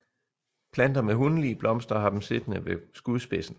Planter med hunlige blomster har dem siddende ved skudspidsen